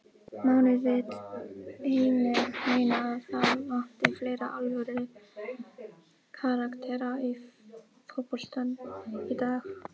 Máni vill einnig meina að það vanti fleiri alvöru karaktera í fótboltann í dag.